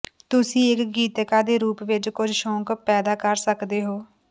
ਤੁਸੀਂ ਇੱਕ ਗੀਤਿਕਾ ਦੇ ਰੂਪ ਵਿੱਚ ਕੁੱਝ ਸ਼ੌਕ ਪੈਦਾ ਕਰ ਸਕਦੇ ਹੋ